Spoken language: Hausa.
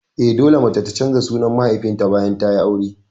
Eh, dole mace ta canza sunan mahaifinta bayan tayi aure